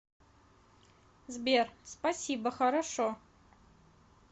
сбер спасибо хорошо